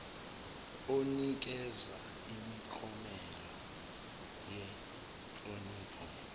onikeza imiklomelo yenhlonipho